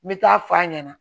N bɛ taa f'a ɲɛna